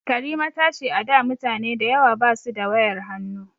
Karima ta ce a da mutane dayawa ba su da wayar hannu